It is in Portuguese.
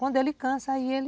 Quando ele cansa, aí ele...